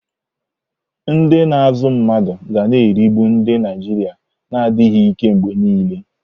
Ndị na-azụ mmadụ ga na-erigbu ndị Naijiria na-adịghị ike mgbe niile.